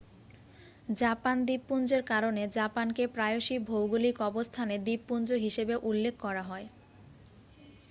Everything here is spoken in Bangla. "জাপান দ্বীপপুঞ্জের কারণে জাপানকে প্রায়শই ভৌগলিক অবস্থানে "দ্বীপপুঞ্জ" হিসাবে উল্লেখ করা হয়